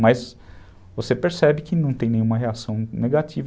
Mas você percebe que não tem nenhuma reação negativa.